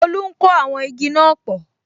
Tolu ń kó àwọn igi náà pò